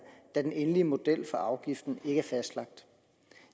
da den endelige model for afgiften er fastlagt